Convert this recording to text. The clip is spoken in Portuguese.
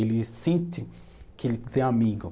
Ele sente que ele tem amigo.